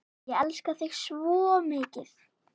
Ég elska þig svo mikið.